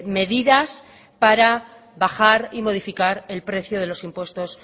medidas para bajar y modificar el precio de los impuestos